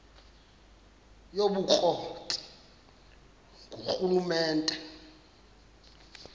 yobukro ti ngurhulumente